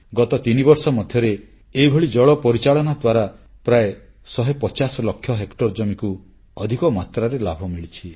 ଗତ ତିନିବର୍ଷ ମଧ୍ୟରେ ଏହିଭଳି ଜଳ ପରିଚାଳନା ଦ୍ୱାରା ପ୍ରାୟ 150 ଲକ୍ଷ ହେକ୍ଟର ଜମିକୁ ଅଧିକ ମାତ୍ରାରେ ଲାଭ ମିଳିଛି